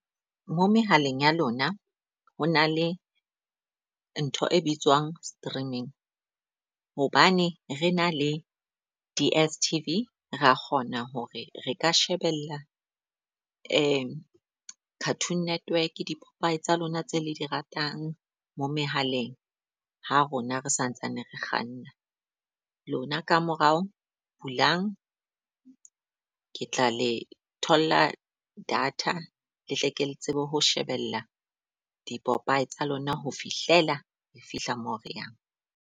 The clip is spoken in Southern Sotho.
Mo mehaleng ya lona, ho na le ntho e bitswang streaming. Hobane re na le D_S_T_V ra kgona hore re ka shebella Cartoon Network di-popeye tsa lona tse le di ratang mo mehaleng ha rona re sa ntsane re kganna. Lona ka morao bulang ke tla le tholla data le tle ke le tsebe ho shebella di-popeye tsa lona ho fihlela re fihla mo re yang.